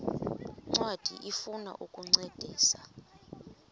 ncwadi ifuna ukukuncedisa